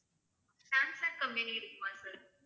Samsung company இருக்குமா sir